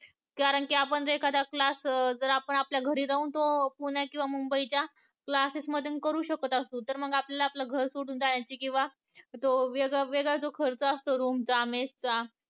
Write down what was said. कारण कि आपण एखादा class जर आपण तो पुण्या किंवा मुंबई च्या class मध्ये करून शकत असू तर मग आपल्याला घर सोडून जाण्याची किंवा तो वेगळा खर्च असतो रूम चा, mess चा